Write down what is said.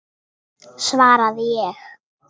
svaraði ég.